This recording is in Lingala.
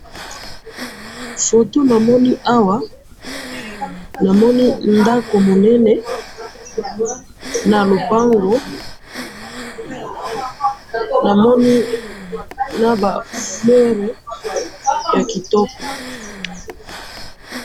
photo namoni awa, namoni ndako munene, na lupango, namoni naba fleurs ya kitoko